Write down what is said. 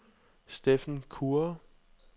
Steffen Kure